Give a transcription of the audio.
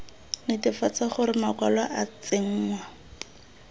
netefatsa gore makwalo a tsenngwa